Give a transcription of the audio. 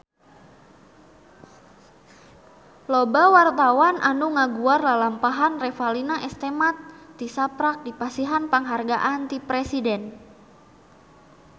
Loba wartawan anu ngaguar lalampahan Revalina S. Temat tisaprak dipasihan panghargaan ti Presiden